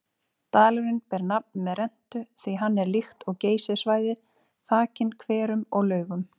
Dalurinn ber nafn með rentu því hann er líkt og Geysissvæðið þakinn hverum og laugum.